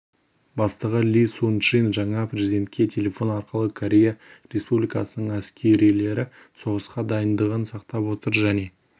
бастығы ли сун чжин жаңа президентке телефон арқылы корея республикасының әскерилері соғысқа дайындығын сақтап отыр және